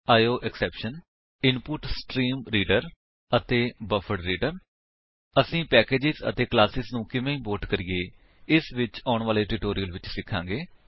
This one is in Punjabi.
ਆਇਓਐਕਸੈਪਸ਼ਨ ਇਨਪੁਟਸਟ੍ਰੀਮਰੀਡਰ ਅਤੇ ਬਫਰਡਰੀਡਰ ਅਸੀ ਪੈਕੇਜ ਅਤੇ ਕਲਾਸੇਸ ਨੂੰ ਕਿਵੇਂ ਇੰਪੋਰਟ ਕਰੀਏ ਇਸ ਬਾਰੇ ਵਿੱਚ ਆਉਣ ਵਾਲੇ ਟਿਊਟੋਰਿਅਲ ਵਿੱਚ ਸਿਖਾਂਗੇ